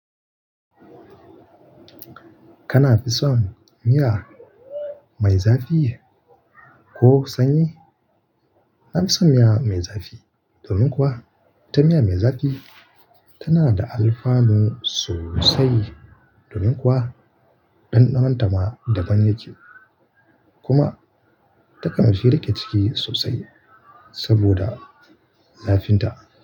Kana son miya, mai zafi ko sanyi? Na fi son miya mai zafi. Domin kuwa, ita miya mai zafi, tana da alfanu sosai. Domin kuwa ɗanɗanon ta ma, daban yake. Kuma ta kan fi riƙe ciki sosai saboda zafin ta.